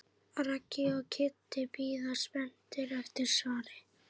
Raggi og Kiddi bíða spenntir eftir svari.